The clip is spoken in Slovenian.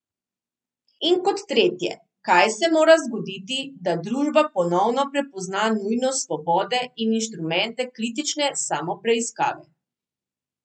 In kot tretje, kaj se mora zgoditi, da družba ponovno prepozna nujnost svobode in instrumente kritične samopreiskave?